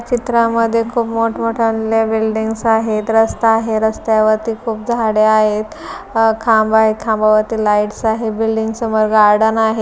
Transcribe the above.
चित्रामध्ये खूप मोठं मोठ्या लय बिल्डींग्स आहे रस्ता आहे. रस्त्यावरती खूप झाडे आहेत. अ खांब आहेत खांबावरती लाईट्स आहे. बिल्डिंग समोर गार्डन आहे.